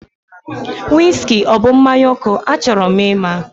Wiski ọ bụ mmanya ọkụ? Achọrọ m ima